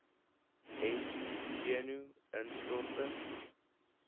ent senu instorting